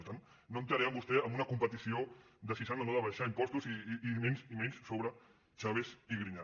per tant no entraré amb vostè en una competició de si s’han o no d’abaixar impostos i menys sobre chaves i griñán